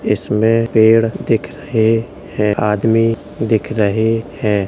इसमें पेड़ दिख रहें हैं | आदमी दिख रहें हैं।